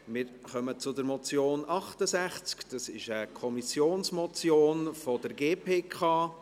Wir kommen zum Traktandum 68, einer Kommissionsmotion der GPK.